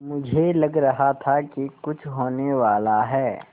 मुझे लग रहा था कि कुछ होनेवाला है